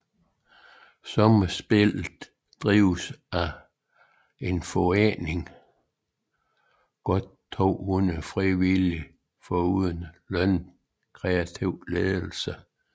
Sommerspillet drives af en forening med godt 200 frivillige foruden en lønnet kreativ ledelse